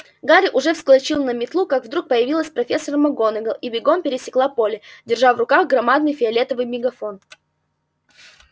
гарри уже вскочил на метлу как вдруг появилась профессор макгонагалл и бегом пересекла поле держа в руках громадный фиолетовый мегафон